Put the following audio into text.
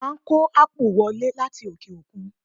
Wọ́n má kó ápù wọlé láti òkè òkun.